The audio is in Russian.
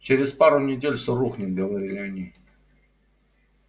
через пару недель все рухнет говорили они